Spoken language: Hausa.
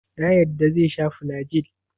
Ya yarda zai sha flagyl?